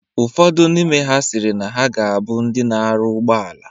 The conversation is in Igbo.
Ụfodụ n'ime ha sịrị na ha ga abụ ndị na-arụ ụgbọala